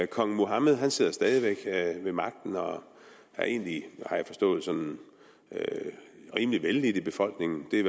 kong mohammed sidder stadig væk ved magten og er egentlig har jeg forstået sådan rimelig vellidt i befolkningen det